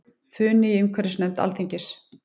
Funi í umhverfisnefnd Alþingis